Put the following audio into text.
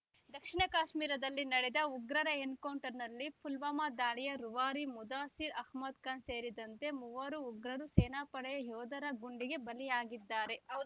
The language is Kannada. ದಕ್ಷಿಣ ಕಾಶ್ಮೀರದಲ್ಲಿ ನಡೆದ ಉಗ್ರರ ಎನ್‌ಕೌಂಟರ್‌ನಲ್ಲಿ ಪುಲ್ವಾಮಾ ದಾಳಿಯ ರೂವಾರಿ ಮುದಾಸೀರ್ ಅಹಮದ್‌ಖಾನ್ ಸೇರಿದಂತೆ ಮೂವರು ಉಗ್ರರು ಸೇನಾಪಡೆಯ ಯೋಧರ ಗುಂಡಿಗೆ ಬಲಿಯಾಗಿದ್ದಾರೆ ಹೌದ್